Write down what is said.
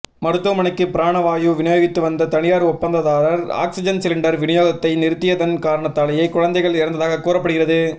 மருத்துவமனைக்கு பிராண வாயு விநியோகித்துவந்த தனியார் ஒப்பந்ததாரர் ஆக்ஸிஜன் சிலிண்டர் விநியோகத்தை நிறுத்தியதன் காரணத்தாலேயே குழந்தைகள் இறந்ததாகக் கூறப்படுகிறது